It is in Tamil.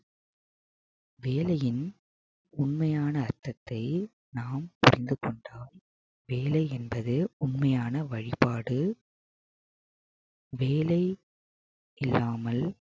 வேலையின் உண்மையான அர்த்தத்தை நாம் புரிந்து கொண்டால் வேலை என்பது உண்மையான வழிபாடு வேலை இல்லாமல்